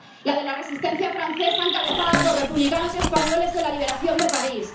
La de la resistencia francesa encabezada por republicanos españoles en la liberación de París